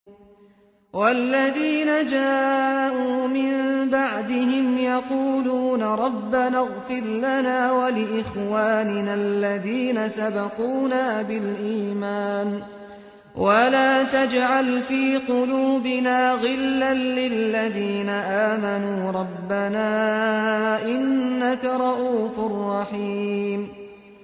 وَالَّذِينَ جَاءُوا مِن بَعْدِهِمْ يَقُولُونَ رَبَّنَا اغْفِرْ لَنَا وَلِإِخْوَانِنَا الَّذِينَ سَبَقُونَا بِالْإِيمَانِ وَلَا تَجْعَلْ فِي قُلُوبِنَا غِلًّا لِّلَّذِينَ آمَنُوا رَبَّنَا إِنَّكَ رَءُوفٌ رَّحِيمٌ